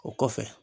O kɔfɛ